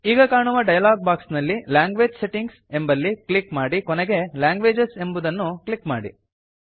ಈಗ ಕಾಣುವ dialog box ನಲ್ಲಿ ಲ್ಯಾಂಗ್ವೇಜ್ ಸೆಟ್ಟಿಂಗ್ಸ್ ಎಂಬಲ್ಲಿ ಕ್ಲಿಕ್ ಮಾಡಿ ಕೊನೆಗೆ ಲ್ಯಾಂಗ್ವೇಜಸ್ ಎಂಬುದನ್ನು ಕ್ಲಿಕ್ ಮಾಡಿ